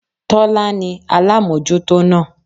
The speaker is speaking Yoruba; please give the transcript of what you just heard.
Tólá ní alámójútó náà